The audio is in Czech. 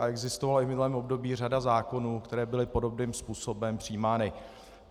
A existovala i v minulém období řada zákonů, který byly podobným způsobem přijímány.